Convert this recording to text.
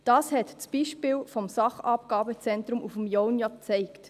Das hat das Beispiel des Sachabgabezentrums auf dem Jaunpass ja gezeigt.